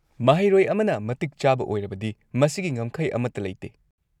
ꯃꯍꯩꯔꯣꯏ ꯑꯃꯅ ꯃꯇꯤꯛ ꯆꯥꯕ ꯑꯣꯏꯔꯕꯗꯤ ꯃꯁꯤꯒꯤ ꯉꯝꯈꯩ ꯑꯃꯠꯇ ꯂꯩꯇꯦ꯫